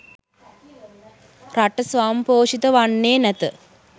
රට ස්වයංපෝෂිත වන්නේ නැත